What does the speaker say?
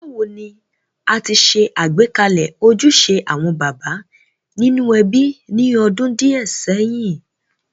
Bàwoni a ti se àgbékalẹ̀ ojúse àwon bàbá nínú ebí ni odún díẹ̀ séyìn.?